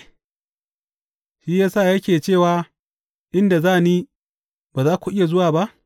Shi ya sa yake cewa, Inda za ni, ba za ku iya zuwa ba’?